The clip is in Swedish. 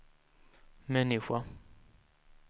människa